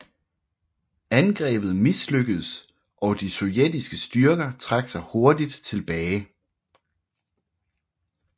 Angrebet mislykkedes og de sovjetiske styrker trak sig hurtigt tilbage